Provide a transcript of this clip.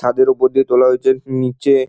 ছাদের অপর দিয়ে তোলা হয়েছে হুম নিচে--